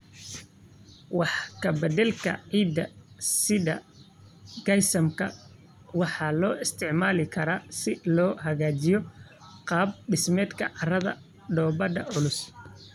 Wax ka beddelka ciidda sida gypsum waxaa loo isticmaali karaa si loo hagaajiyo qaab dhismeedka carrada dhoobada culus.